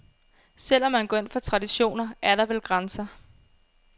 Selv om man går ind for traditioner, er der vel grænser.